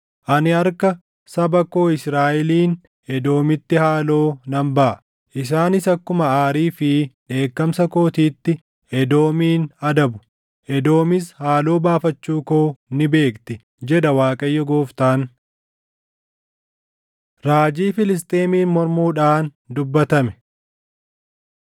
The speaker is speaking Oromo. Ani harka saba koo Israaʼeliin Edoomitti haaloo nan baʼa; isaanis akkuma aarii fi dheekkamsa kootiitti Edoomin adabu; Edoomis haaloo baafachuu koo ni beekti, jedha Waaqayyo Gooftaan.’ ” Raajii Filisxeemiin Mormuudhaan Dubbatame